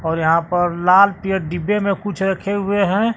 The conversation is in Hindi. और यहां पर लाल डिब्बे में कुछ रखे हुए है।